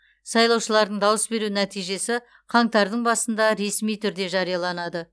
сайлаушылардың дауыс беру нәтижесі қаңтардың басында ресми түрде жарияланады